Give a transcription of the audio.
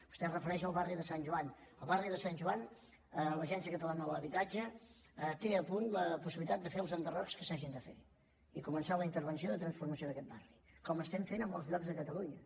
vostè es refereix al barri de sant joan al barri de sant joan l’agència catalana de l’habitatge té a punt la possibilitat de fer els enderrocs que s’hagin de fer i co·mençar la intervenció de transformació d’aquest barri com estem fent a molts llocs de catalunya